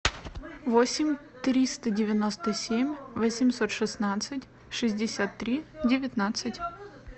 восемь триста девяносто семь восемьсот шестнадцать шестьдесят три девятнадцать